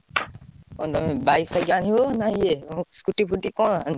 କଣ ତମେ bike ଫାଇକ ଆଣିବ ନାଁ Scooty ଫୁଟି କଣ ଆଣିବ?